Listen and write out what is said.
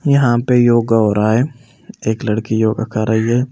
यहाँ पे योगा हो रहा है एक लड़की योगा कर रही है।